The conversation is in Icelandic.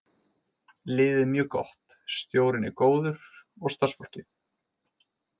Liðið er mjög gott, stjórinn er góður og starfsfólkið.